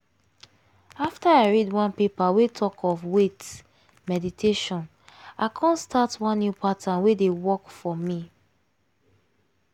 after i read one paper wey talk of wait! meditation i come start one new pattern wey dey work for me.